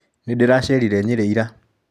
Nĩndĩracerire Nyerĩ ira.